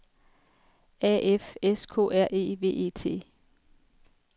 A F S K R E V E T